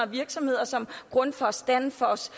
virksomheder som grundfos danfoss